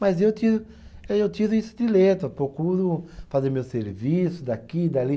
Mas eu tiro, aí eu tiro isso de letra, procuro fazer meu serviço daqui e dali.